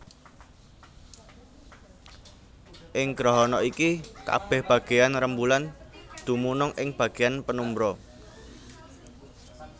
Ing grahana iki kabèh bagéyan rembulan dumunung ing bagéyan penumbra